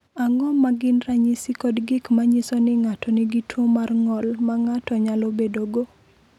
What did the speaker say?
Ang’o ma gin ranyisi kod gik ma nyiso ni ng’ato nigi tuwo mar ng’ol ma ng’ato nyalo bedogo?